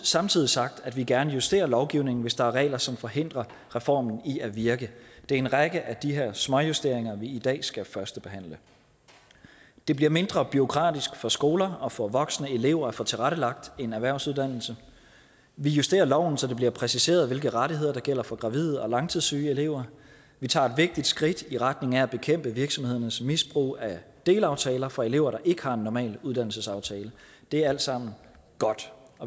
samtidig sagt at vi gerne justerer lovgivningen hvis der er regler som forhindrer reformen i at virke det er en række af de her småjusteringer vi i dag skal førstebehandle det bliver mindre bureaukratisk for skolerne og for voksne elever at få tilrettelagt en erhvervsuddannelse vi justerer loven så det bliver præciseret hvilke rettigheder der gælder for gravide og langtidssyge elever vi tager et vigtigt skridt i retning af at bekæmpe virksomhedernes misbrug af delaftaler for elever der ikke har en normal uddannelsesaftale det er alt sammen godt